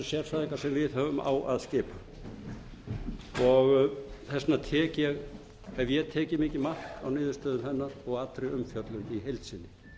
sérfræðingar sem við höfum á að skipa þess vegna hef ég tekið mikið mark á niðurstöðum hennar og allri umfjöllun í heild sinni